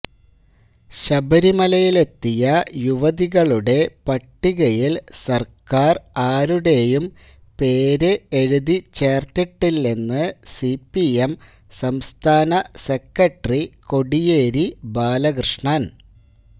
ശബരിമലയിലെത്തിയ യുവതികളുടെ പട്ടികയില് സര്ക്കാര് ആരുടേയും പേര് എഴുതി ചേര്ത്തിട്ടില്ലെന്ന് സിപിഎം സംസ്ഥാന സെക്രട്ടറി കോടിയേരി ബാലകൃഷ്ണന്